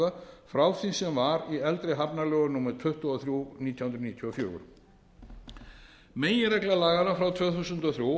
hafnaframkvæmda frá því sem var í eldri hafnalögum númer tuttugu og þrjú nítján hundruð níutíu og fjögur meginregla laganna frá tvö þúsund og þrjú